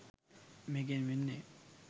මේකෙන් වෙන්නේ